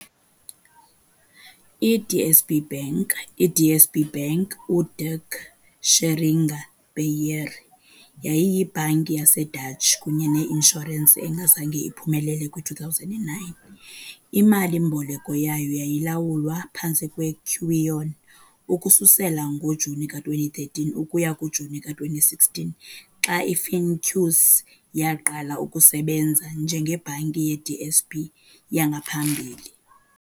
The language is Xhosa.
I-DSB Bank "i-DSB, uDirk Scheringa Beheer" yayiyibhanki yaseDutch kunye ne-inshurensi engazange iphumelele kwi-2009. Imali-mboleko yayo yayilawulwa phantsi "kweQuion" ukususela ngoJuni ka-2013 ukuya kuJuni ka-2016 xa i- "Finqus" yaqala ukusebenza njengeBhanki ye-DSB yangaphambili.